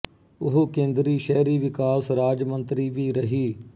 ਉਹ ਕੇਂਦਰੀ ਸ਼ਹਿਰੀ ਵਿਕਾਸ ਰਾਜ ਮੰਤਰੀ ਵੀ ਰਹੀ